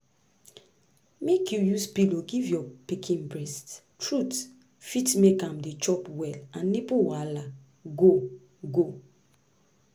make you use pillow give your pikin breast true fit make am dey chop well and nipple wahala go go